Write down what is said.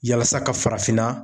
Yalasa ka farafinna